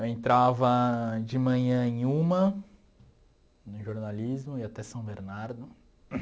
Eu entrava de manhã em uma, no jornalismo, ia até São Bernardo.